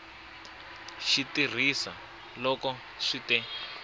xi tirhisa loko swi te